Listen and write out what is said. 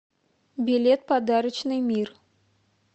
билет подарочный мир